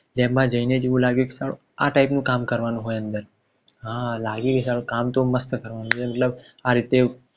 તેમાં જઈને જ એવું લાગ્યું સાલું આ taip નું કામ કરવાનું હોય અંદર હા લાગ્યું કે સારું કામ તો માસ્ટ થવાનું છે મતલબ આ રીતે